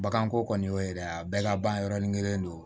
Baganko kɔni y'o ye dɛ a bɛɛ laban yɔrɔni kelen don